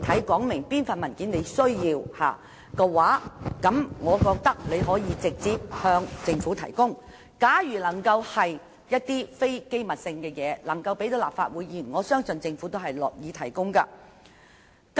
假如她能具體說明要索取哪一份文件，可以直接向政府提出，如她要求的並非機密資料，而能公開讓立法會議員查閱的，我相信政府亦樂於提供。